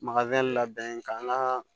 Makari labɛn ka naa